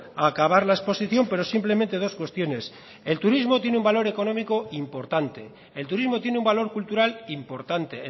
a acabar la exposición pero simplemente dos cuestiones el turismo tiene un valor económico importante el turismo tiene un valor cultural importante